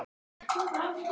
ORA grænar